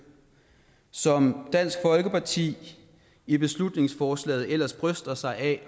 som dansk folkeparti i beslutningsforslaget ellers bryster sig af